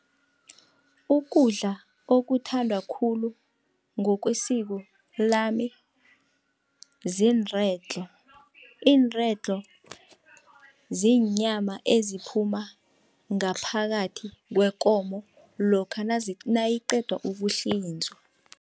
Ukudla okuthandwa khulu ngokwesiko lami zinredlo. Iinredlo ziinyama eziphuma ngaphakathi kwekomo lokha nayiqedwa ukuhlinzwa.